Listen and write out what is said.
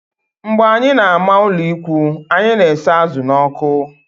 Mgbe anyị na-ama ụlọikwuu, anyị na-esa azụ̀ n'ọkụ